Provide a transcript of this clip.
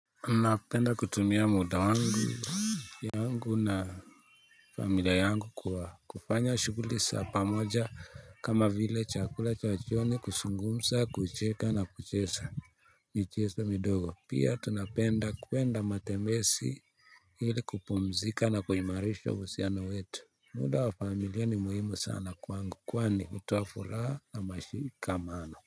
Napenda kutumia muda wangu, yangu na familia yangu kwa kufanya shughuli za pamoja kama vile chakula cha jioni, kuzungumza, kucheka na kucheza michezo midogo. Pia tunapenda kuenda matembezi ili kupumzika na kuimarisha uhusiano wetu. Muda wa familia ni muhimu sana kwangu kwani hutoa furaha na mashikamano.